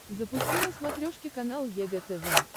запусти на смотрешке канал егэ тв